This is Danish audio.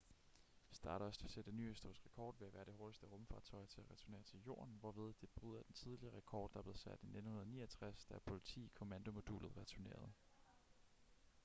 stardust vil sætte en ny historisk rekord ved at være det hurtigste rumfartøj til at returnere til jorden hvorved det bryder den tidligere rekord der blev sat i 1969 da apollo x kommandomodulet returnerede